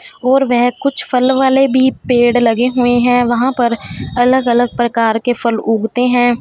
और वह कुछ फल वाले भी पेड़ लगे हुए हैं वहां पर अलग अलग प्रकार के फल उगते हैं।